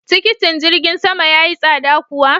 Tikitin jirgin sama ya yi tsada kuwa?